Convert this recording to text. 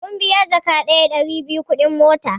Mun biya jaka daya (Ɗari biyu) kuɗin mota